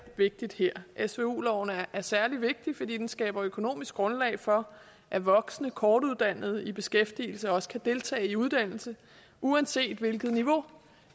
vigtigt her svu loven er særlig vigtig fordi den skaber økonomisk grundlag for at voksne kortuddannede i beskæftigelse også kan deltage i uddannelse uanset hvilket niveau